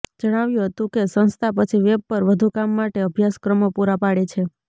જણાવ્યું હતું કે સંસ્થા પછી વેબ પર વધુ કામ માટે અભ્યાસક્રમો પૂરા પાડે છે